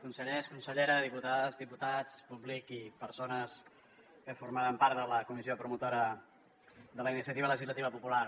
consellers consellera diputades i diputats públic i persones que formaven part de la comissió promotora de la iniciativa legislativa popular